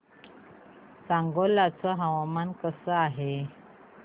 सांगोळा चं हवामान कसं आहे